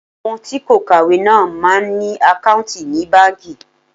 Àwọn tí kò kàwé náà máa ń ní àkáùntì ní báńkì.